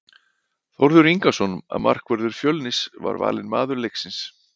Þórður Ingason, markvörður Fjölnis, var valinn maður leiksins.